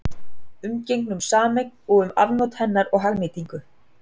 Umgengni um sameign og um afnot hennar og hagnýtingu.